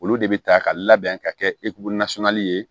Olu de bɛ taa ka labɛn ka kɛ ye